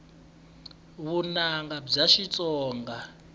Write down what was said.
vunanga bya xitsonga